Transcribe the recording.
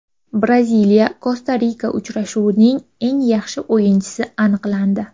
BraziliyaKosta-Rika uchrashuvining eng yaxshi o‘yinchisi aniqlandi.